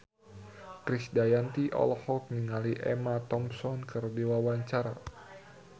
Krisdayanti olohok ningali Emma Thompson keur diwawancara